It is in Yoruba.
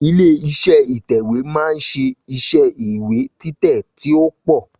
Ilé iṣé ìtèwé ma ń ṣe iṣẹ́ ìwé títè tí o pọ